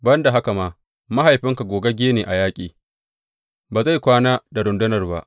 Ban da haka ma, mahaifinka gogagge ne a yaƙi; ba zai kwana da rundunar ba.